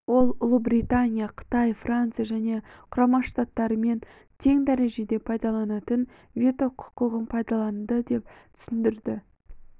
ол ұлыбритания қытай франция және құрама штаттармен тең дәрежеде пайдаланатын вето құқығын пайдаланды деп түсіндірді